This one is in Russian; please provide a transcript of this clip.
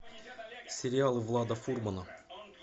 сериал влада фурмана